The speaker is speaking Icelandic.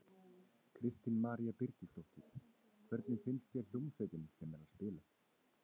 Kristín María Birgisdóttir: Hvernig finnst þér hljómsveitin sem er að spila?